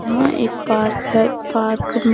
यहां एक पार्क है पार्क में--